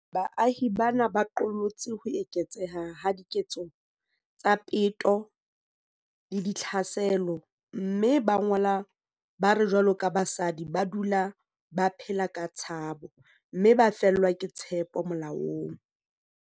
Baahi bana ba qollotse ho eketseha ha diketso tsa peto le ditlhaselo, mme ba ngola ba re jwaloka basadi ba dula ba phela ka tshabo, mme ba fellwa ke tshepo molaong.